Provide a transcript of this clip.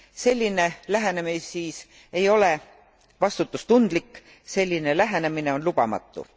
Selline lähenemisviis ei ole vastutustundlik, selline lähenemine on lubamatu.